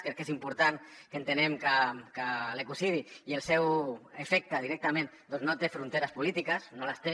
crec que és important que entenguem que l’ecocidi i el seu efecte directament no té fronteres polítiques no en té